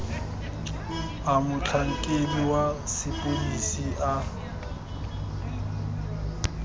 a motlhankedi wa sepodisi a